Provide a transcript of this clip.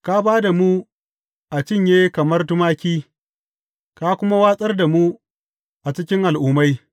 Ka ba da mu a cinye kamar tumaki ka kuma watsar da mu a cikin al’ummai.